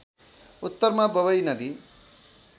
उत्तरमा बबई नदी